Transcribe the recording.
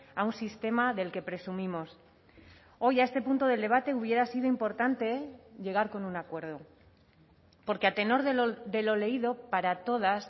a un sistema del que presumimos hoy a este punto del debate hubiera sido importante llegar con un acuerdo porque a tenor de lo leído para todas